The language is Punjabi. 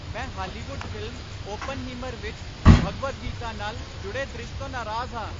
ਮੈਂ ਹਾਲੀਵੁੱਡ ਫ਼ਿਲਮ 'ਓਪਨਹੀਮਰ' ਵਿੱਚ ਭਗਵਦ ਗੀਤਾ ਨਾਲ ਜੁੜੇ ਦ੍ਰਿਸ਼ ਤੋਂ ਨਾਰਾਜ਼ ਹਾਂ।